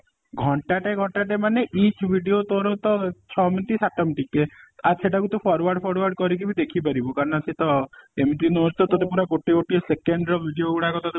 ଘଣ୍ଟା ଟେ ଘଣ୍ଟା ଟେ ମାନେ each video ତୋର ତ ଛ minute ସାତ minute କେ ଆଉ ସେଇଟା କୁ ତୁ forward forward କରିକି ବି ତୁ ଦେଖିପାରିବୁ କାରଣ ସେ ତ ଏମିତି ନୁହଁ ତତେ ପୁରା ଗୋଟେ ଗୋଟେ ସେକେଣ୍ଡ ର video ଗୁଡାକ ତତେ